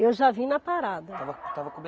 Eu já vim na parada. Estava estava come